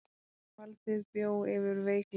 Valdið bjó yfir veikleikum.